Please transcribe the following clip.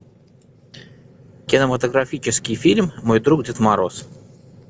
кинематографический фильм мой друг дед мороз